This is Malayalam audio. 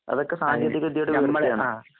അതൊക്കെസാങ്കേതികവിദ്യയുടെയൊരുവിദ്യയാണ്.